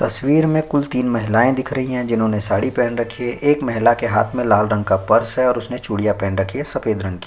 तस्वीर में कुल तीन महिलाए दिख रही है जिन्होंने साड़ी पहन रखी है एक महिला के हाथ में लाल रंग का पर्स है और उसने चुडिया पहन रखी है सफ़ेद रंग की--